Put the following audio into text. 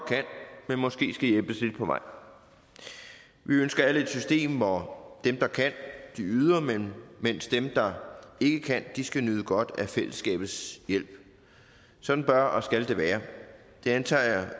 kan måske skal hjælpes lidt på vej vi ønsker alle et system hvor dem der kan yder mens dem der ikke kan skal nyde godt af fællesskabets hjælp sådan bør og skal det være og det antager jeg